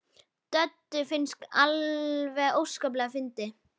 Döddu fannst þetta alveg óskaplega fyndið.